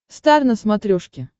стар на смотрешке